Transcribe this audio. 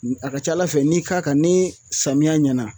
A ka ca ala fɛ n'i y'i k'a kan ni samiya nana.